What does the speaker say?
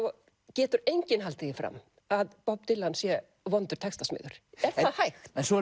getur enginn haldið því fram að Bob Dylan sé vondur textasmiður er það hægt svo